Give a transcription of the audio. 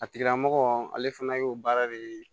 A tigila mɔgɔ ale fana y'o baara de ye